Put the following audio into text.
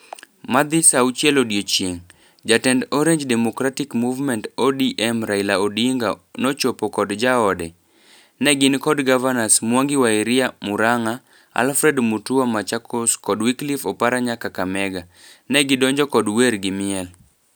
Madhi saa auchiel odiochieng, jatend Orange Democratic Movement(ODM) Raila Odinga nochopo kod jaode. Negin kod gavanas Mwangi Wa Iria(Murang'a), Alfred Mutua(Machakos), kod Wycliffe Oparanya(Kakamega). Negidonjo kod wer gi miel.